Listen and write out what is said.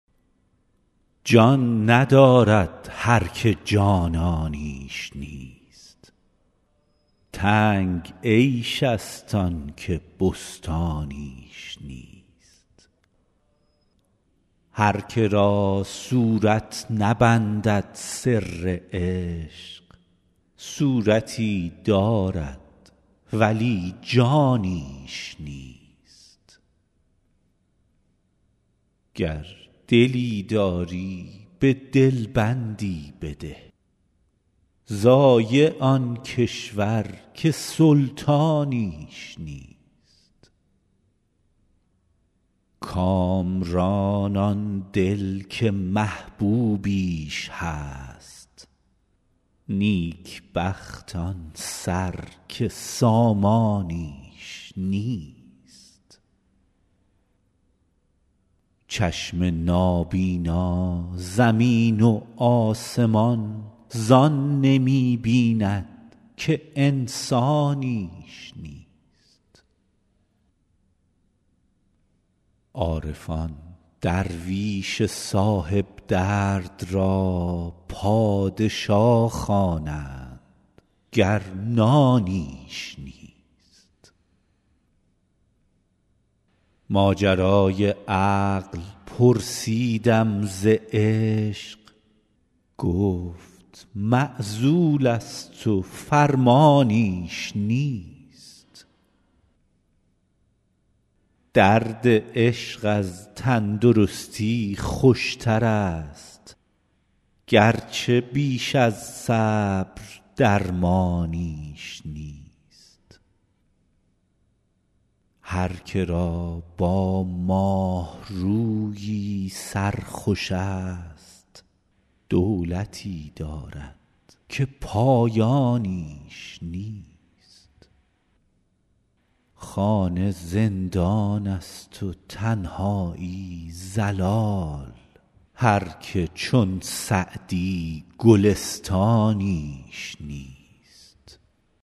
جان ندارد هر که جانانیش نیست تنگ عیش ست آن که بستانیش نیست هر که را صورت نبندد سر عشق صورتی دارد ولی جانیش نیست گر دلی داری به دل بندی بده ضایع آن کشور که سلطانیش نیست کامران آن دل که محبوبیش هست نیک بخت آن سر که سامانیش نیست چشم نابینا زمین و آسمان زان نمی بیند که انسانیش نیست عارفان درویش صاحب درد را پادشا خوانند گر نانیش نیست ماجرای عقل پرسیدم ز عشق گفت معزول ست و فرمانیش نیست درد عشق از تن درستی خوش ترست گرچه بیش از صبر درمانیش نیست هر که را با ماه رویی سر خوش ست دولتی دارد که پایانیش نیست خانه زندان ست و تنهایی ضلال هر که چون سعدی گلستانیش نیست